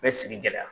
Bɛ sigi gɛlɛya